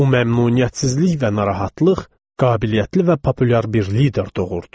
Bu məmnuniyyətsizlik və narahatlıq qabiliyyətli və populyar bir lider doğurdu.